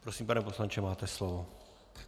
Prosím, pane poslanče, máte slovo.